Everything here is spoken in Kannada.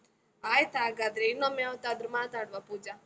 ಆಯ್ತ್ ಹಾಗಾದ್ರೆ, ಇನ್ನೊಮ್ಮೆ ಯಾವತ್ತಾದ್ರೂ ಮಾತಾಡುವ ಪೂಜ.